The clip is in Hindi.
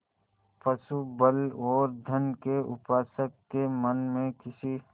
पशुबल और धन के उपासक के मन में किसी